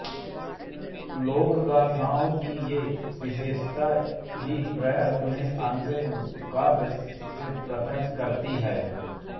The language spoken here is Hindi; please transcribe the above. लोकगाथाओं की ये विशेषताएँ ही प्राय उन्हें अलंकृत काव्य से पृथक् करती हैं